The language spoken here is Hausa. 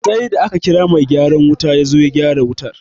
Sai da aka kira mai gyaran wuta yazo ya gyara wutar